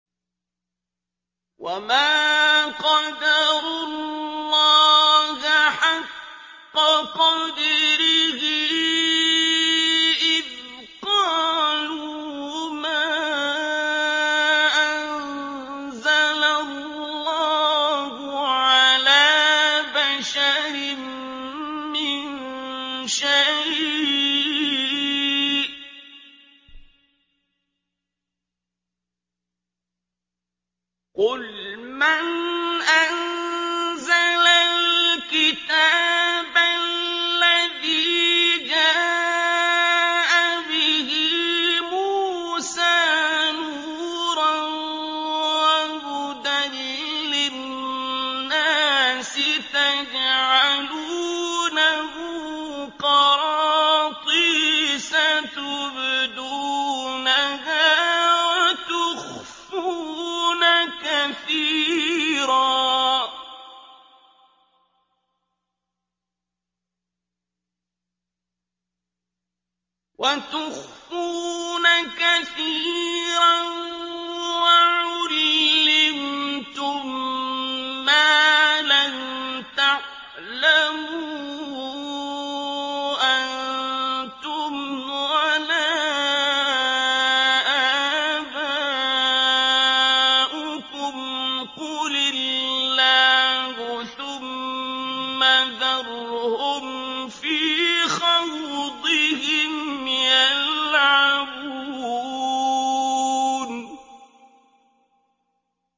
وَمَا قَدَرُوا اللَّهَ حَقَّ قَدْرِهِ إِذْ قَالُوا مَا أَنزَلَ اللَّهُ عَلَىٰ بَشَرٍ مِّن شَيْءٍ ۗ قُلْ مَنْ أَنزَلَ الْكِتَابَ الَّذِي جَاءَ بِهِ مُوسَىٰ نُورًا وَهُدًى لِّلنَّاسِ ۖ تَجْعَلُونَهُ قَرَاطِيسَ تُبْدُونَهَا وَتُخْفُونَ كَثِيرًا ۖ وَعُلِّمْتُم مَّا لَمْ تَعْلَمُوا أَنتُمْ وَلَا آبَاؤُكُمْ ۖ قُلِ اللَّهُ ۖ ثُمَّ ذَرْهُمْ فِي خَوْضِهِمْ يَلْعَبُونَ